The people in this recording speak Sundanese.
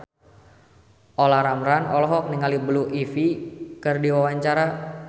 Olla Ramlan olohok ningali Blue Ivy keur diwawancara